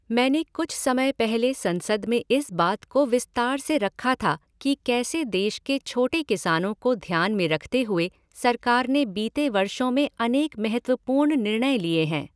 मैंने कुछ समय पहले संसद में इस बात को विस्तार से रखा था कि कैसे देश के छोटे किसानों को ध्यान में रखते हुए सरकार ने बीते वर्षों में अनेक महत्वपूर्ण निर्णय लिए हैं।